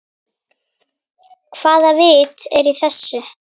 Hvaða vit er í þessu?